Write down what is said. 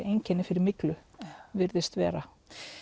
einkenni fyrir myglu virðist vera